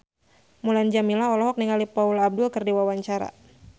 Mulan Jameela olohok ningali Paula Abdul keur diwawancara